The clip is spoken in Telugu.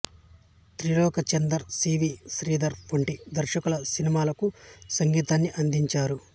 త్రిలోకచందర్ సి వి శ్రీధర్ వంటి దర్శకుల సినిమాలకు సంగీతాన్ని అందించారు